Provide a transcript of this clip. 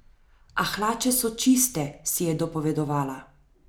A hlače so čiste, si je dopovedovala.